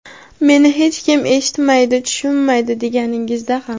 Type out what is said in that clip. meni hech kim eshitmaydi tushunmaydi deganingizda ham.